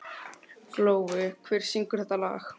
Glói, hver syngur þetta lag?